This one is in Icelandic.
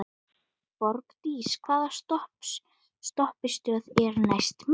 Borgdís, hvaða stoppistöð er næst mér?